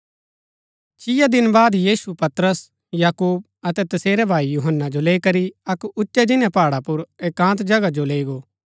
छीआ दिन बाद यीशु पतरस याकूब अतै तसेरै भाई यूहन्‍ना जो लैई करी अक्क उच्चै जिन्‍नै पहाडा पुर एकान्त जगह जो लैई गो